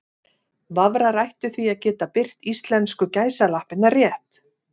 Vafrar ættu því að geta birt íslensku gæsalappirnar rétt.